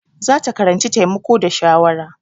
Za ta karanci taimako da shawara.